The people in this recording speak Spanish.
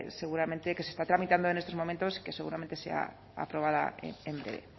seguramente que se está tramitando en estos momentos y que seguramente sea aprobada en breve